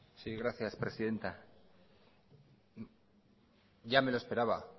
sí gracias presidenta ya me lo esperaba